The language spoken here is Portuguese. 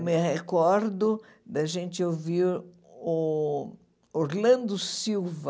Me recordo da gente ouvir o o Orlando Silva,